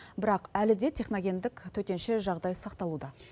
бірақ әлі де техногендік төтенше жағдай сақталуда